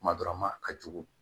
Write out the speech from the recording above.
Kuma dɔ la ma a ka jugu